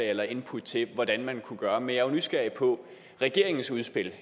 eller input til hvordan man kunne gøre men jeg er nysgerrig på regeringens udspil